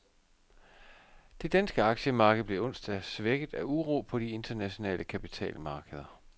Det danske aktiemarked blev onsdag svækket af uro på de internationale kapitalmarkeder.